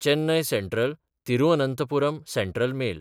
Chennai सँट्रल–तिरुअनंथपुरम central mail